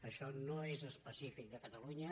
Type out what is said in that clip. això no és específic de catalunya